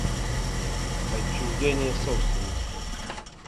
отчуждение собственности